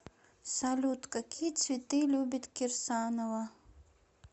салют какие цветы любит кирсанова